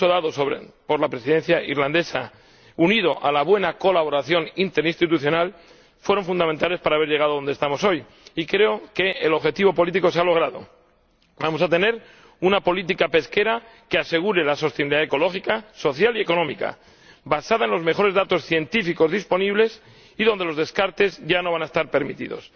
El gran impulso dado por la Presidencia irlandesa, unido a la buena colaboración interinstitucional, han sido fundamentales para llegar adonde estamos hoy. Y creo que el objetivo político se ha logrado. Vamos a tener una política pesquera que asegure la sostenibilidad ecológica, social y económica, basada en los mejores datos científicos disponibles y en la que los descartes ya no van a estar permitidos.